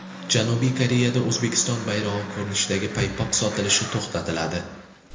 Janubiy Koreyada O‘zbekiston bayrog‘i ko‘rinishidagi paypoq sotilishi to‘xtatiladi .